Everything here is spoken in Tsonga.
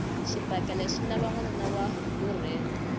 xibakele xi lava nwanuna wa vurhena